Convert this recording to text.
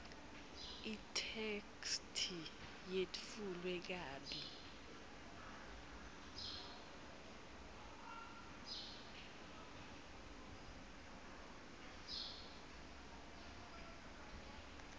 itheksthi yetfulwe kabi